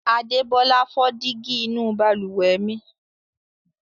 Adébọ́lá fọ́ dígí inú balùwẹ̀ mi.